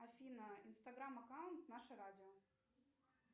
афина инстаграм аккаунт наше радио